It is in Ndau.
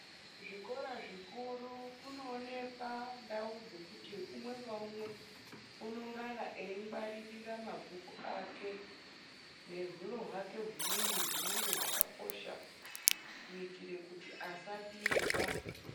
Zvikora zvikuru kunoonekwa ndau dzokuti umwe ngaumwe unongana eingwaririra mabhuku ake nehuro hwakwe humweni hunenge hwakakosha kuitira kuti asabirwa.